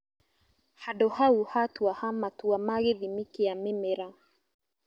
Handũ hau hatuaha matua ma gĩthimi kĩa mĩmera